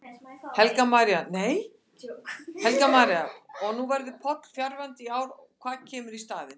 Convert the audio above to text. Helga María: Og nú verður Palli fjarverandi í ár, hvað kemur í staðinn?